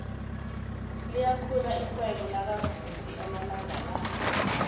liyakhula irhwebo lakavusi amalanga la